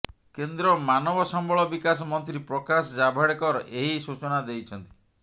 କେନ୍ଦ୍ର ମାନବସମ୍ବଳ ବିକାଶ ମନ୍ତ୍ରୀ ପ୍ରକାଶ ଜାଭଡେକର ଏହି ସୂଚନା ଦେଇଛନ୍ତି